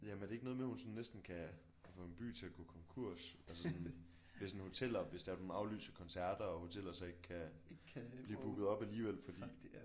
Jamen er det ikke noget med hun sådan næsten kan kan få en by til at gå konkurs altså sådan hvis en hoteller hvis det er at hun aflyser koncerter og hoteller så ikke kan blive booket op alligevel fordi